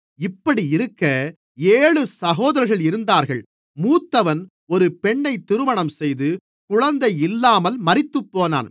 இப்படியிருக்க ஏழு சகோதரர்கள் இருந்தார்கள் மூத்தவன் ஒரு பெண்ணைத் திருமணம்செய்து குழந்தை இல்லாமல் மரித்துப்போனான்